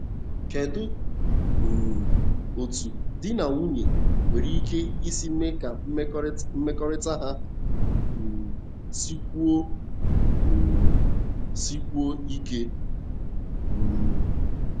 Kedu um etú di na nwunye nwere ike isi mee ka mmekọrịta ha um sikwuo um sikwuo ike? um